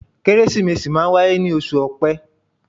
Kérésìmesì máa ń wáyé ní oṣù Ọpẹ.